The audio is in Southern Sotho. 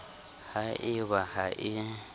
ha e ba ha e